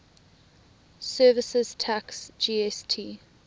services tax gst